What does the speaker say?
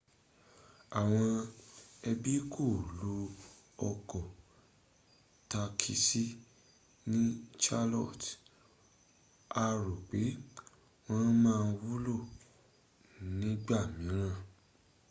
àwọon ẹbí kò lo ọkọ̀ takisí ní charlotte a rò pé wọ́n ma wúlò nígbà míràn